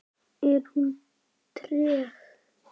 Er hún treg?